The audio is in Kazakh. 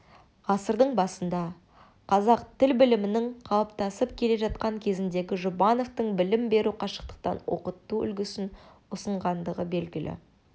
ғасырдың басында қазақ тіл білімінің қалыптасып келе жатқан кезеңінде жұбановтың білім берудің қашықтан оқыту үлгісін ұсынғандығы белгілі